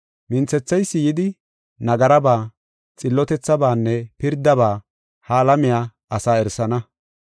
Minthetheysi yidi, nagaraba, xillotethabaanne pirdaba ha alamiya asaa erisana.